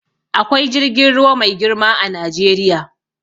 Akwai jirgin ruwa mai girma a Najeriya.